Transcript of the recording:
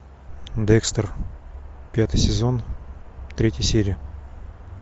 декстер пятый сезон третья серия